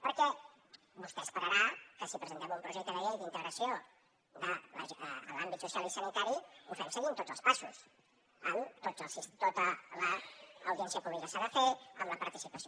perquè vostè esperarà que si presentem un projecte de llei d’integració de l’àmbit social i sanitari ho fem seguint tots els passos amb tota l’audiència pública que s’ha de fer amb la participació